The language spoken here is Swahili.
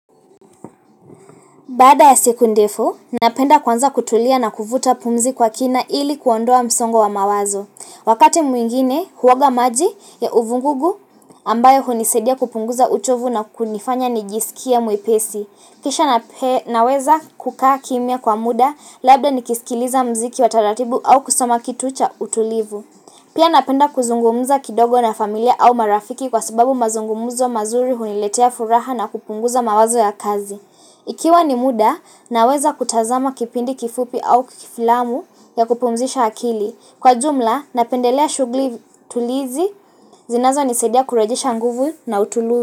Baada ya siku ndefu, napenda kwanza kutulia na kuvuta pumzi kwa kina ili kuondoa msongo wa mawazo. Wakati mwingine, huoga maji ya uvugugu ambayo hunisadia kupunguza uchovu na kunifanya nijisikie mwepesi. Kisha naweza kukaa kimya kwa muda, labda nikisikiliza muziki wa taratibu au kusoma kitu cha utulivu. Pia napenda kuzungumuza kidogo na familia au marafiki kwa sababu mazungumzo mazuri huniletea furaha na kupunguza mawazo ya kazi. Ikiwa ni muda na weza kutazama kipindi kifupi au kifilamu ya kupumzisha akili. Kwa jumla napendelea shughuli tulizi zinazo nisaidia kurejisha nguvu na utulu.